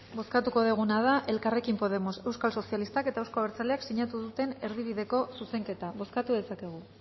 bozkatuko duguna da elkarrekin podemos euskal sozialistak eta euzko abertzaleak sinatu duten erdibideko zuzenketa bozkatu dezakegu